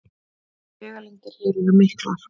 Vegalengdir hér eru miklar